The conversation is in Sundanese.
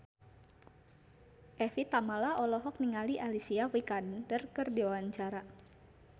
Evie Tamala olohok ningali Alicia Vikander keur diwawancara